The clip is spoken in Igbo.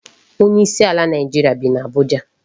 Onye isi ala Naịjirịa bi n'Abuja.